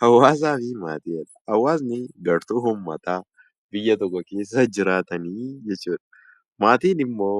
Hawaasni gartuu uummataa biyya tokko keessa jiraatanii jechuudha. Maatiin immoo